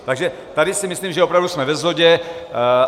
Takže tady si myslím, že opravdu jsme ve shodě.